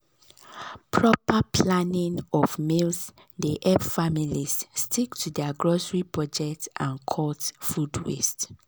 proper planning of meals dey help families stick to dir grocery budget and cut food waste.